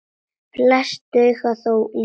Flest duga þó lítið.